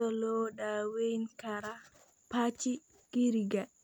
Sidee loo daweyn karaa pachygyriga?